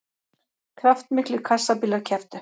Kraftmiklir kassabílar kepptu